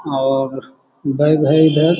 और बैग है। इधर --